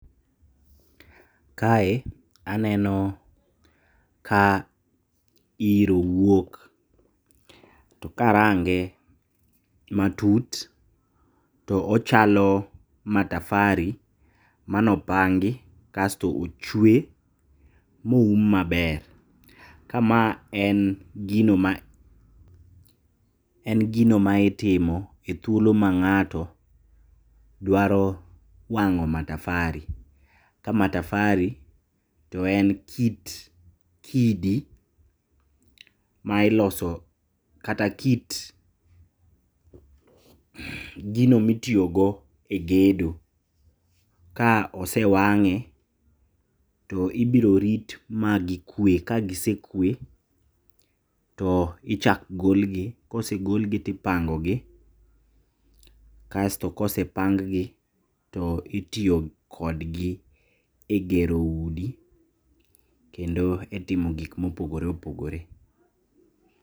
Kae eneno ka iro wuok, to ka arange matut to ochalo matafari mano pangi kasto ochwe mo oum maber. Ka ma en gino ma en gino ma itimo e thuolo ma ng'ato dwaro wang'o matafari. Ka matafari to en kit kidi ma iloso kata kit gino mitiyo go e gedo. Ka osewang'e to ibiro rit ma gikwe ka gisekwe, to ichak golgi, kosegol gi tipango gi, kasto kosepang gi, to itoyo kodgi e gero udi kendo e timo gik mopogore opogore.